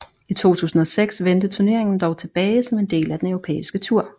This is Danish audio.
I 2006 vendte turneringen dog tilbage som en del af den Europæiske tur